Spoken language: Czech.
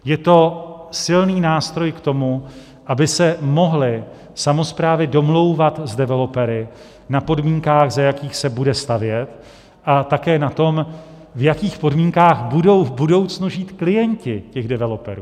Je to silný nástroj k tomu, aby se mohly samosprávy domlouvat s developery na podmínkách, za jakých se bude stavět, a také na tom, v jakých podmínkách budou v budoucnu žít klienti těch developerů.